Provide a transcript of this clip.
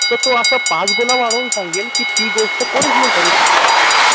तर असं तो पाच गुना वाढवून सांगेल कि ती गोष्ट कोणीच नाही करू शकत